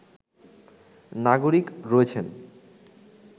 নাগরিক রয়েছেন